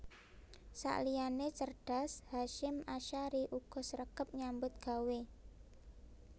Sakliyane cerdas Hasyim Asyhari uga sregep nyambut gawe